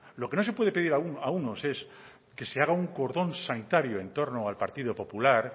lo que no se puede pedir a unos es que se haga un cordón sanitario en torno al partido popular